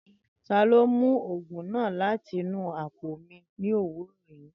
Tani o mu oogun naa lati inu apo mi ni owurọ yii?.